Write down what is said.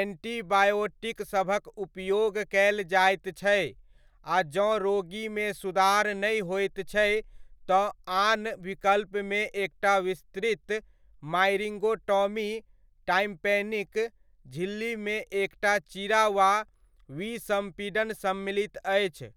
Antibiotic सभक उपयोग कयल जाइत छै आ जँ रोगीमे सुधार नहि होइत छै तऽ आन विकल्पमे एकटा विस्तृत मायरिंगोटॉमी, टाम्पैनिक झिल्लीमे एकटा चीरा वा विसम्पीडन सम्मिलित अछि।